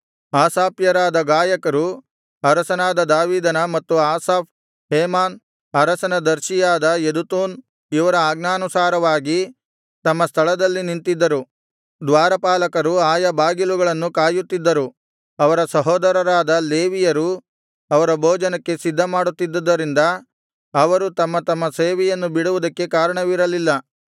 ಆಸಾಫ್ಯರಾದ ಗಾಯಕರು ಅರಸನಾದ ದಾವೀದನ ಮತ್ತು ಆಸಾಫ್ ಹೇಮಾನ್ ಅರಸನ ದರ್ಶಿಯಾದ ಯೆದುತೂನ್ ಇವರ ಆಜ್ಞಾನುಸಾರವಾಗಿ ತಮ್ಮ ಸ್ಥಳದಲ್ಲಿ ನಿಂತಿದ್ದರು ದ್ವಾರಪಾಲಕರು ಆಯಾ ಬಾಗಿಲುಗಳನ್ನು ಕಾಯುತ್ತಿದ್ದರು ಅವರ ಸಹೋದರರಾದ ಲೇವಿಯರು ಅವರ ಭೋಜನಕ್ಕೆ ಸಿದ್ಧಮಾಡುತ್ತಿದ್ದದರಿಂದ ಅವರು ತಮ್ಮ ತಮ್ಮ ಸೇವೆಯನ್ನು ಬಿಡುವುದಕ್ಕೆ ಕಾರಣವಿರಲಿಲ್ಲ